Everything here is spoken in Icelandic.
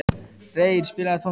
Reyr, spilaðu tónlist.